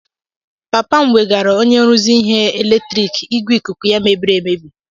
Papa m wegara onye nruzi ihe eletriiki igwe ikuku ya mebiri emebi.